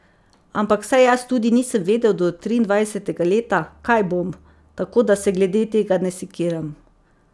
Ampak saj jaz tudi nisem vedel do triindvajsetega leta, kaj bom, tako da se glede tega ne sekiram.